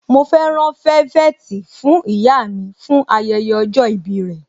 Mọ fẹ́ rán velvet fún ìyá mi fún ayẹyẹ ọjọ́ ìbí rẹ.